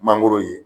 Mangoro ye